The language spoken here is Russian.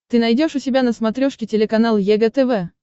ты найдешь у себя на смотрешке телеканал егэ тв